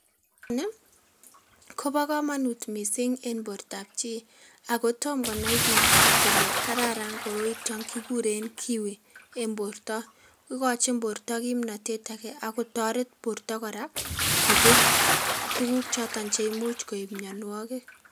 NIii kobo komonut missing en bortab chii ako tom konai bik kole kararan koroito kikuren kiwi en borta ikochi borto kimnotet ake ak kotoret borto koraa kobir tukuk choton cheimuch koib mionwokik.